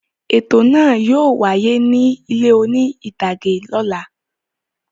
Ètò náà yóò wáyé ní ilé oní-ìtàgé lọ́la.